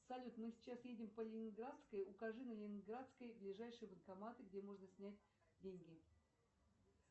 салют мы сейчас едем по ленинградской укажи на ленинградской ближайшие банкоматы где можно снять деньги